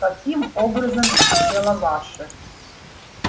каким образом дело ваше